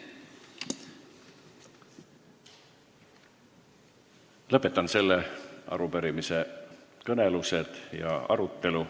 Lõpetan selle arupärimise kõnelused ja arutelu.